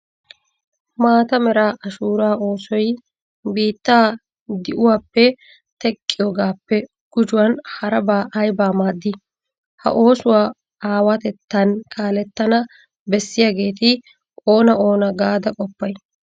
Maata mera ashuura oosoy biittaa di'uwappe teqqiyogaappe gujuwan harabaa aybaa maaddii? Ha oosuwa aawatettan kaalettana bessiyageeti oona oona gaada qoppay?